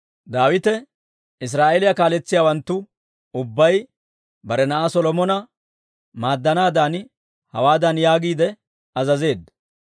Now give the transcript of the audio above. Daawite Israa'eeliyaa kaaletsiyaawanttu ubbay bare na'aa Solomona maaddanaadan hawaadan yaagiide azazeedda;